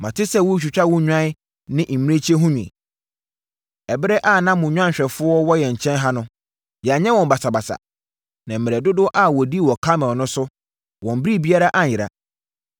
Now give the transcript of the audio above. “Mate sɛ woretwitwa wo nnwan ne mmirekyie ho nwi. Ɛberɛ a na mo nnwanhwɛfoɔ wɔ yɛn nkyɛn ha no, yɛanyɛ wɔn basabasa. Na mmerɛ dodoɔ a wɔdii wɔ Karmel no nso, wɔn biribiara annyera.